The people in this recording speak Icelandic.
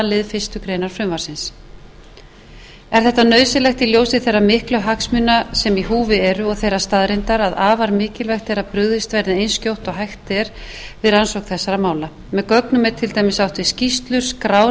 lið fyrstu grein frumvarpsins er þetta nauðsynlegt í ljósi þeirra miklu hagsmuna sem í húfi eru og þeirrar staðreyndar að afar mikilvægt er að brugðist verði eins skjótt og hægt er við rannsókn þessara mála með gögnum er til dæmis átt við skýrslur skrár